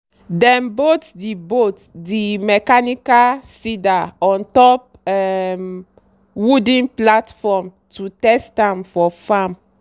dem bolt the bolt the mechanical seeder on top um wooden platform to test am for farm